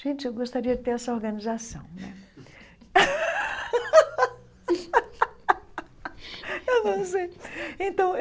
Gente, eu gostaria de ter essa organização né eu não sei então.